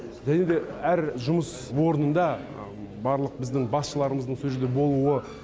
және де әр жұмыс орнында барлық біздің басшыларымыздың сол жерде болуы